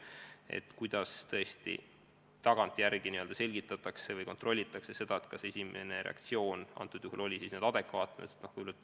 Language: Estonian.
Tõesti, kuidas tagantjärele selgitatakse või kontrollitakse seda, kas inimese esimene reaktsioon oli adekvaatne.